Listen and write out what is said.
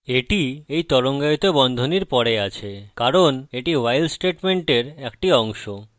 এটি এই তরঙ্গায়িত বন্ধনীর পরে আছে কারণ এটি while স্টেটমেন্টের একটি অংশ